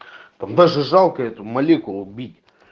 там даже жалко эту молекулу убить